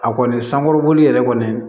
A kɔni sankɔrɔboli yɛrɛ kɔni